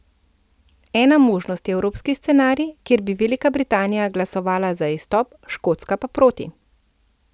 Ena možnost je evropski scenarij, kjer bi Velika Britanija glasovala za izstop, Škotska pa proti.